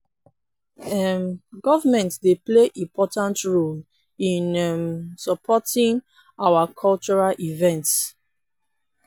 um government dey play important role in um supporting our cultural events.